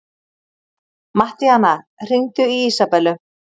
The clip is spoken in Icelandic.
Mattíana, hringdu í Ísabellu.